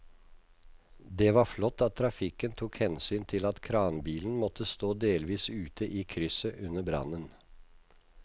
Det var flott at trafikken tok hensyn til at kranbilen måtte stå delvis ute i krysset under brannen.